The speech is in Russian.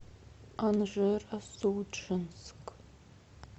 анжеро судженск